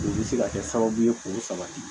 O bɛ se ka kɛ sababu ye k'o sabati